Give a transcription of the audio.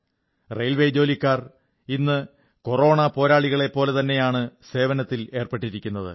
railway ജോലിക്കാർ ഇന്ന് corona പോരാളികളെപ്പോലെതന്നെയാണ് സേവനത്തിലേർപ്പെട്ടിരിക്കുന്നത്